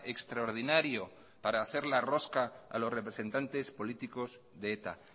extraordinario para hacer la rosca a los representantes políticos de eta